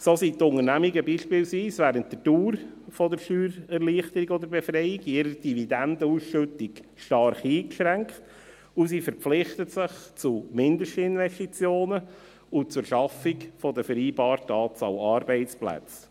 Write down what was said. So sind die Unternehmungen beispielsweise während der Dauer der Steuererleichterung oder -befreiung in ihrer Dividendenausschüttung stark eingeschränkt, und sie verpflichten sich zu Mindestinvestitionen sowie zur Schaffung der vereinbarten Anzahl Arbeitsplätze.